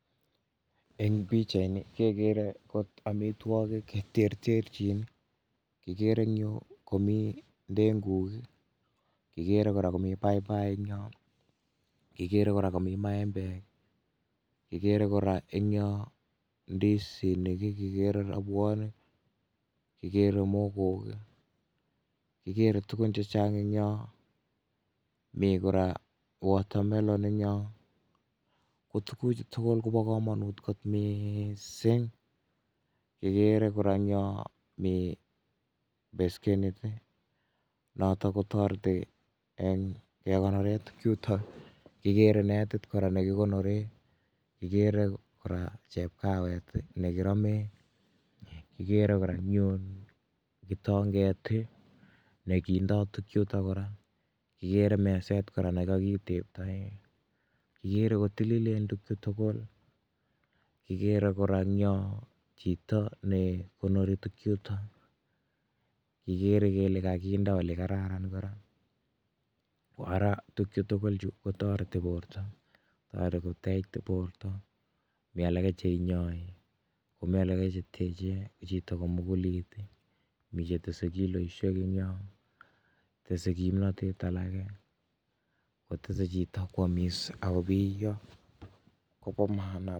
Eng pichait ni kekere kot amitwogik cheterterchin kigere engyu komii denguk kigere kora komi paipai engyo kikere kora komi maembek kikere kora eng yo ndisinik kikere robwonik kikere mokok kikere tugun chechang engyo mi kora watermelon engyo. Ko tuguchu tugul kobo kamanut kot miising kikere kora engyo mi beskenit notok kotoreti eng kekonore tukchutok kikere netit kora nekikonore kikere kora chepkawet nekiromee kigere kora eng yun kitonget nekindoi tukchutok kora kikere meset kora nekakiteptoe kikere kotililen tukchu tugul kigere kora engyo chito nekonori tukchutok kigere kele kakinde ole kararan kora koara tugukchu tugulchu kotoreti borto toregoteitu borto mialake cheinyai komi alake cheteche chito komukulit mi chetese kiloisiekengyo tese kimnotet alake kotese chito kwamis akobiyo koba maana.